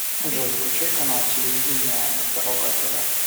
джой включай канал телевидения здоровое тв